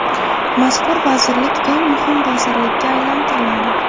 Mazkur vazirlik eng muhim vazirlikka aylantiriladi.